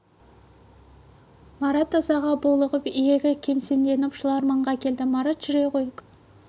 марат ызаға булығып иегі кемсеңдеп жыларманға келді марат жүре ғой күнде екеуіңе айтушы емес пе едім